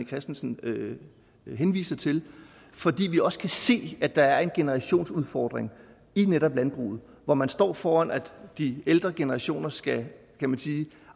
christensen henviser til fordi vi også kan se at der er en generationsudfordring i netop landbruget hvor man står foran at de ældre generationer skal